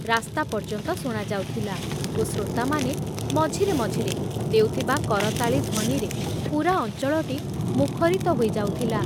ରାସ୍ତା ପର୍ଯ୍ୟନ୍ତ ଶୁଣାଯାଉଥିଲା ଓ ଶ୍ରୋତାମାନେ ମଝିରେ ମଝିରେ ଦେଉଥିବା କରତାଳି ଧ୍ଵନିରେ ପୂରା ଅଞ୍ଚଳଟି ମୁଖରିତ ହୋଇଯାଉଥିଲା।